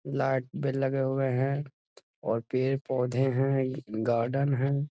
Light बेल लगे हुए हैं और पेड़-पौधें हैं गार्डन है।